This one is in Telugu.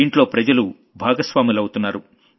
దీంట్లో జనం భాగస్వాములవుతున్నారు